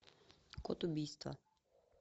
код убийства